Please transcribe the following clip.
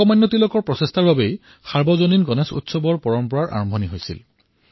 লোকমান্য তিলকৰৰ প্ৰয়াসতেই সাৰ্বজনিক গণেশ উৎসৱৰ পৰম্পৰা আৰম্ভ হল